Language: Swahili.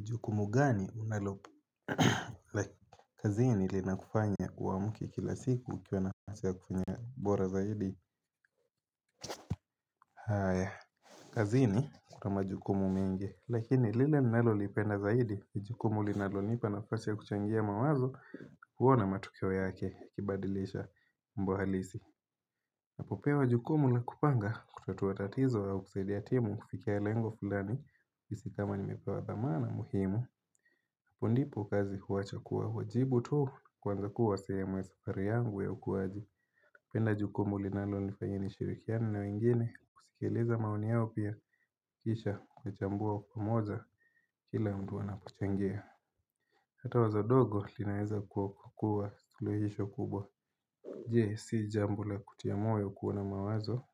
Jukumu gani unalofanya kazini linalokufanya uamke kila siku kwa nafasi ya kufanya bora zaidi. Kazini, kuna majukumu mengi, lakini lile ninalolipenda zaidi. Jukumu linalonipa nafasi ya kuchangia mawazo. Huona matukio yake yakibadilisha mambo halisi. Napopewa jukumu laku panga kutua tatizo wa kusaidia timu kufikia lengo fulani. Kisha kama nimepewa thamani muhimu. Hapo ndipo kazi huacha kuwa wajibu tu, kuanza kuwa sehemu ya safari yangu ya ukuaji. Ninalopenda ni jukumu ambalo nifanyalo kwa nishirikiane na wengine, kusikiliza maoni yao pia. Kisha, kuchambua pamoja kila mtu wanapochangia. Hata wazo dogo linaweza kukua likawa suluhisho kubwa. Je, si jambo la kutia moyo kuona mawazo